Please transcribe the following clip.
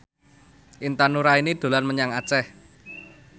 Intan Nuraini dolan menyang Aceh